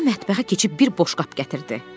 Özü də mətbəxə keçib bir boş qab gətirdi.